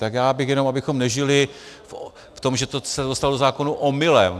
Tak já bych jenom, abychom nežili v tom, že se to dostalo do zákonu omylem.